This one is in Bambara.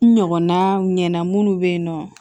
N ɲɔgɔnna ɲɛna minnu be yen nɔ